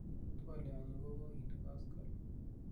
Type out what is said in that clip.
twolyonyun ko koginde koskolen